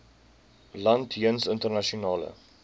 land jeens internasionale